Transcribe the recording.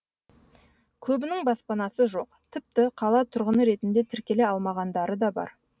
көбінің баспанасы жоқ тіпті қала тұрғыны ретінде тіркеле алмағандары да бар